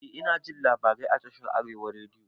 Eh inajin labarai a tashar arewa rediyo